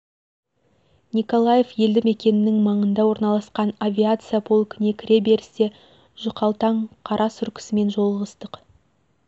николаев елді мекеннің маңында орналасқан авияция полкіне кіре берісте жұқалтаң қара сұр кісімен жолығыстық